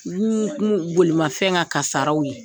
bolimafɛn ŋa kaasaraw ye.